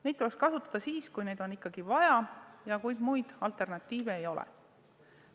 Neid tuleks kasutada siis, kui neid on hädasti vaja ja kui muid alternatiive ei ole.